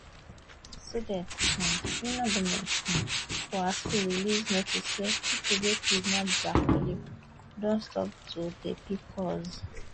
students um union goment um of her school release notice say pipo wey kidnap dia colleague don stop to dey pick calls